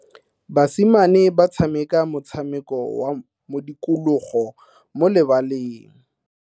Basimane ba tshameka motshameko wa modikologo mo lebaleng.